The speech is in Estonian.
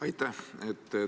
Aitäh!